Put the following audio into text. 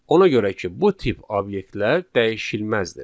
Ona görə ki, bu tip obyektlər dəyişilməzdir.